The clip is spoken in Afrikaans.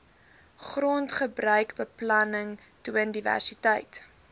grondgebruikbeplanning toon diversiteit